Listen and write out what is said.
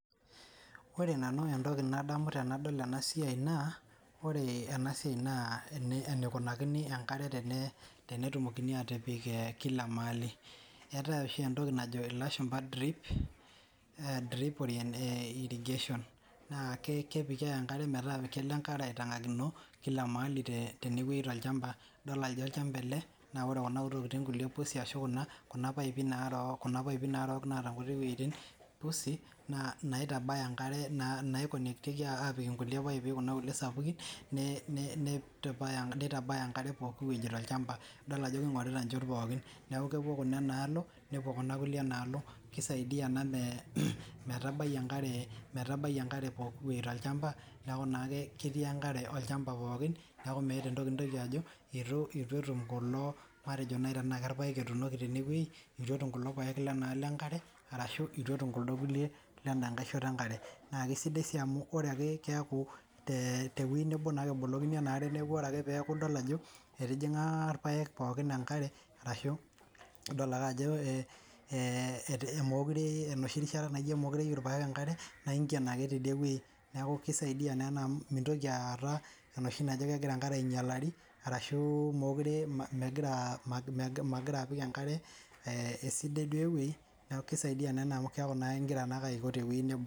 Ore nanu entoki nadamu tenadol ena siai naa oree ena siai naa eneikunakini enkare tenetumokini aatipik kila maali eetae oshi entoki najo ilashumpa drip irrigation naa kepiki ake enkare metaa kelo enkare aitang'akino kila ewei teneweji tolchampa idol ajo olchampa ele naa ore kuna kulie tokiting' pusi ashuu kuna paipi naarok naata inkutii weitin pusii naa inaitabaya enkare nai connect tieki inkulie paipi kina kulie sapukin neitabaya enkare pooki weji toolchampa idol ajo keing'orita inchot pookin neeku kepuo kuba ena alo nepuo kuna kulie enaalo keisaidia ena metabai enkare pooki wei tolchampa neeku naa ake ketii enkare olchampa pookin neeku meeta entoki nintoki ajo eitu etum kulo matejo naaji tenaa irpayek etuunoki tene wei itu etum kulo payek lenaalo enkare arashu eitu etum kuldo kulie lendaa nkae shoto enkare naa kesidai sii amuu ore akee keeku tewei neboo naa ake ebolokini enkare neeku ore ake peeku idol ajo etijing'a irpayek pookin enkare arashu nidol ake ajo enoshii rishata naijo meyiu irpayek enkare naa inken ake tidie weii neeku keisaidia naa ena amu mintoki aata enoshi naji kengira enkare ainyalari arashu meekure megiraa apik ankare esidai duo ewei neeku keisaidia naa ena amuu keaku naa aiko tewei neboo.